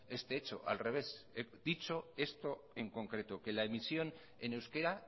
este hecho al revés he dicho esto en concreto que la emisión en euskera